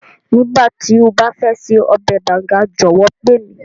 Nígbàtí o ba fẹ ṣe ọbẹ̀ Banga jọ̀wọ́ pe mi.